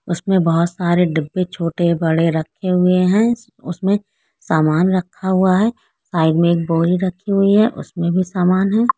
उसमें बहुत सारे डिब्बे छोटे-बड़े रखे हुए है। उसमें सामान रखा हुआ है। साइड में एक बोरी रखी हुई है। उसमें भी सामान है।